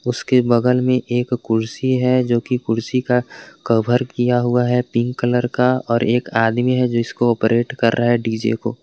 उसके बगल में एक कुर्सी है जो की कुर्सी का कवर किया हुआ है पिंक कलर का और एक आदमी है जो इसको ऑपरेट कर रहा है डी_जे को।